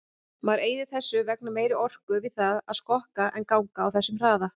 Maður eyðir þess vegna meiri orku við það að skokka en ganga á þessum hraða.